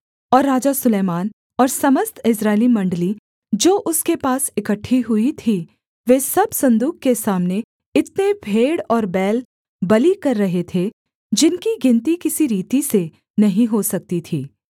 और राजा सुलैमान और समस्त इस्राएली मण्डली जो उसके पास इकट्ठी हुई थी वे सब सन्दूक के सामने इतने भेड़ और बैल बलि कर रहे थे जिनकी गिनती किसी रीति से नहीं हो सकती थी